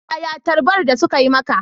Yaya tarbar da suka yi maka?